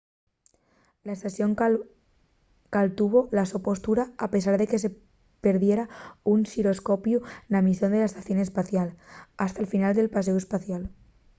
la estación caltuvo la so postura a pesar de que perdiera un xiroscopiu na misión de la estación espacial hasta'l final del paséu espacial